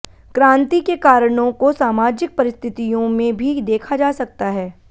क्रांति के कारणों को सामाजिक परिस्थितियों में भी देखा जा सकता है